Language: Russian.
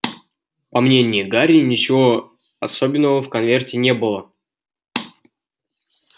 по мнению гарри ничего особенного в конверте не было